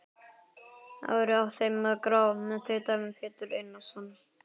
Ari á þeim gráa, tautaði Pétur Einarsson.